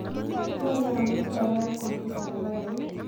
Nee ne amuche ayai ak kompyuta ne po euut